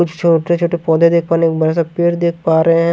छोटे छोटे पौधे देख पा रहे हैं बड़ा सा पेड़ देख पा रहे हैं।